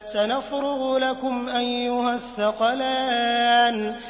سَنَفْرُغُ لَكُمْ أَيُّهَ الثَّقَلَانِ